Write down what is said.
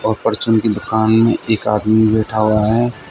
और परचून की दुकान में एक आदमी बैठा हुआ है।